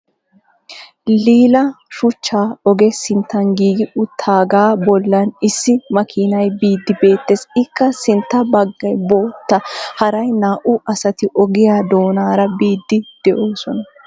lil'a shuchcha ogee sittan giigi utaaga bolan issi makiinay biidi beetes. ikka sintta bagay bootta haray naau asati ogiya doonaara biidi doosona.